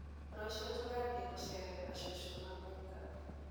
Rũciũ tũgathiĩ gũceerera cũcũ na guka.